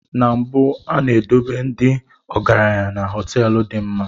Na mbụ, A na-edobe ndị ọgaranya na họteelu dị mma.